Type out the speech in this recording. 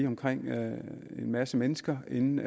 omkring en masse mennesker inden